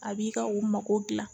A b'i ka u mako dilan